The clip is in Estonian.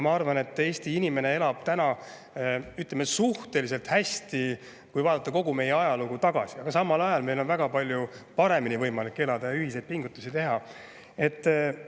Ma arvan, et Eesti inimene elab täna, ütleme, suhteliselt hästi, kui vaadata kogu meie ajalugu, aga samal ajal on võimalik meil väga palju paremini elada ja ühiseid pingutusi teha.